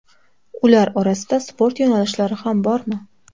Ular orasida sport yo‘nalishlari ham bormi?